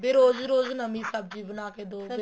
ਵੀ ਰੋਜ ਰੋਜ ਨਵੀਂ ਸਬਜੀ ਬਣਾ ਕੇ ਦੋ